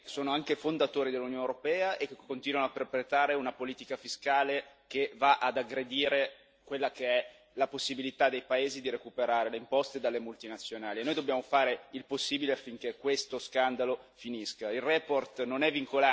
Sono paesi che sono anche fondatori dell'Unione europea e che continuano a perpetrare una politica fiscale che va ad aggredire quella che è la possibilità dei paesi di recuperare le imposte dalle multinazionali, e noi dobbiamo fare il possibile affinché questo scandalo finisca.